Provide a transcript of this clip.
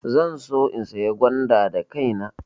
Zan so in saya gwanda da kaina.